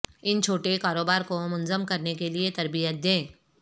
ان چھوٹے کاروبار کو منظم کرنے کے لئے تربیت دیں